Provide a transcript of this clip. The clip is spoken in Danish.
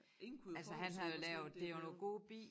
Ingen kunne jo forudse hvor slemt det jo